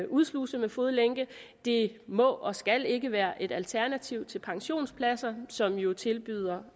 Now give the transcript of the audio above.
udsluse med fodlænke det må og skal ikke være et alternativ til pensionspladser som jo tilbyder